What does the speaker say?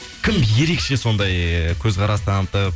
кім ерекше сондай көзқарас таңытып